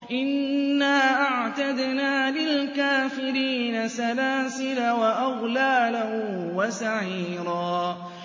إِنَّا أَعْتَدْنَا لِلْكَافِرِينَ سَلَاسِلَ وَأَغْلَالًا وَسَعِيرًا